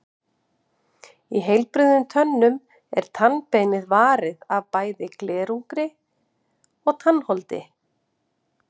Í heilbrigðum tönnum er tannbeinið varið af bæði glerungi og tannholdi.